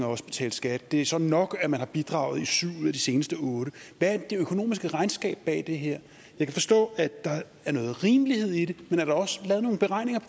og også betalt skat det er så nok at man har bidraget i syv ud af de seneste otte år det økonomiske regnskab bag det her jeg kan forstå at der er noget rimelighed i det men er der også lavet nogle beregninger